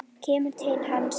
Kemur til hans.